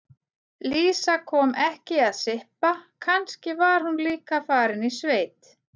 Lísa kom ekki að sippa, kannski var hún líka farin í sveit.